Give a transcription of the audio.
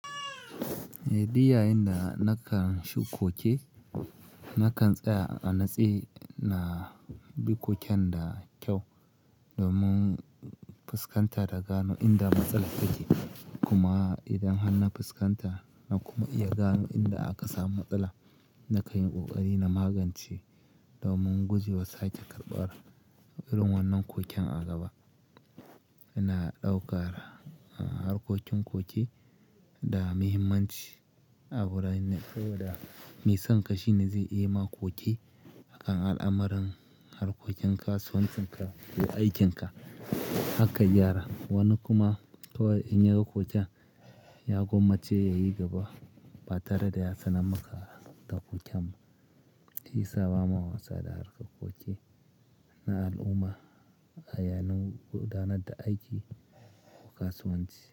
Eh, di yayinda nakan shu koke, nakan tsaya a natse ina bikoken da kyau domin fuskanta da gano inda matsala take. Kuma idan har na fuskanta na kuma iya gano inda aka samu matsala, na kayi kokari na magance domin guje wa sake karɓara irin wannan koken a gaba. Ina ɗaukar harkokin koki da muhimmanci a wuran na saboda mai son kashi na zai yi ma koki akan al'amuran harkokin kasuwancinka ko aikinka hakan gyara. Wani kuma toh in ya gan koken, ya komace ya yi gaba, ba tare da ya sanar maka ta koken ba, shi ya sa ba ma wasa da harkar koki na al'umma a yanan gudanar da aiki ko kasuwanci.